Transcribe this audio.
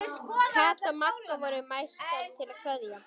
Kata og Magga voru mættar til að kveðja.